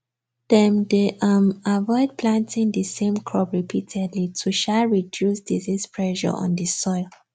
dem dey um avoid planting the same crop repeatedly to um reduce disease pressure on the soil